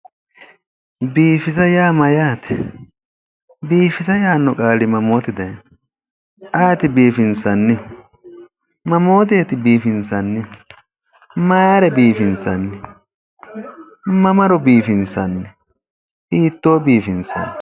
Biifisa yaa mayaate, biifisa yaanno qaali mammoote daayiino, ayeeti biifinsannihu? mammooteeti biifinsannihu? maayiira biifinsanni? mamaro biifinsanni hiittoo biifinsanni?